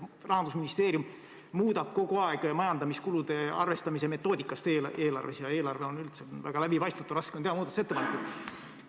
Rahandusministeerium muudab kogu aeg eelarves majandamiskulude arvestamise metoodikat ja eelarve on üldse väga läbipaistmatu, raske on muudatusettepanekuid teha.